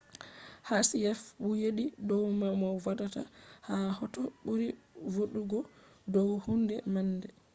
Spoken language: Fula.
hsieh fu yeddi dow ma mo vodata ha hoto ɓuri vooɗugo dow hunde man